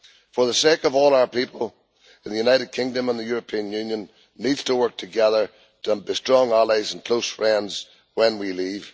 For the sake of all our people, the United Kingdom and the European Union need to work together as strong allies and close friends when we leave.